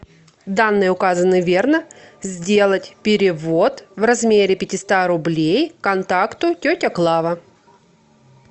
данные указаны верно сделать перевод в размере пятисот рублей контакту тетя клава